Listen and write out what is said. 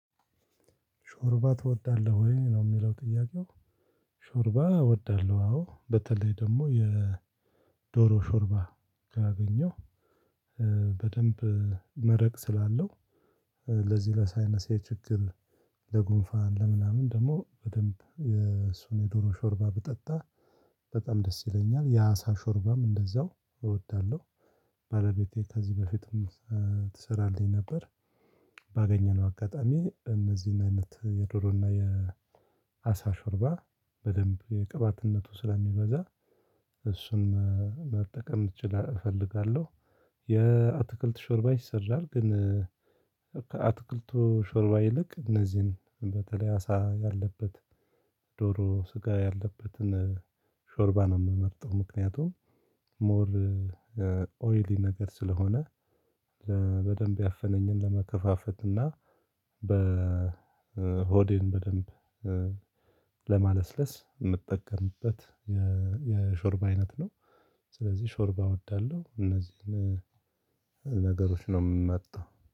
ሾርባ ትወዳለህ ወይ ነው የሚለው ጥያቄው? ሾርባ እወዳለሁ አዎ በተለይ ደግሞ የ የዶሮ ሾርባ ካገኘው። በደንብ መረቅ ስላለው ለዚህ ለሳይነሴ ችግር። ለጉንፋን ለምናምን ደግሞ በደንብ የሱን የዶሮ ሾርባ ብጠጣ በጣም ደስ ይለኛል የአሳ ሾርባም እንደዛው እወዳለሁ። ባለቤቴ ከዚህ በፊትም ትሰራለኝ ነበር። ባገኘነው አጋጣሚ እነዚህን አይነት የዶሮና የአሳ ሾርባ በደንብ ቅባትነቱ ስለሚበዛ እሱን መጠቀም እች እፈልጋለሁ። የአትክልት ሾርባ ይ ሰራል ግን። ከአትክልቱ ሾርባ ይልቅ እነዚህን በተለይ አሳ ያለበት ዶሮ ስጋ ያለበትን ሾርባ ነው የምመርጠው። ምክንያቱም ሞር ኦይሊ ነገር ስለሆነ። በደንብ ያፈነኝን ለመከፋፈት እና በሆዴን በደንብ ለማለስለስ የምጠቀምበት የሾርብ አይነት ነው። ስለዚህ ሾርባ እወዳለሁ እነዚህን ነገሮች ነው የምመርጠው።